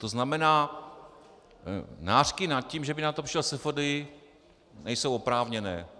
To znamená, nářky nad tím, že by na to přišel SFDI, nejsou oprávněné.